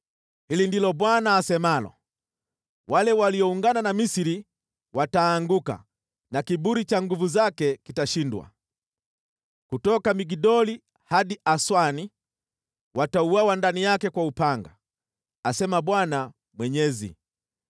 “ ‘Hili ndilo Bwana asemalo: “ ‘Wale walioungana na Misri wataanguka na kiburi cha nguvu zake kitashindwa. Kutoka Migdoli hadi Aswani, watauawa ndani yake kwa upanga, asema Bwana Mwenyezi.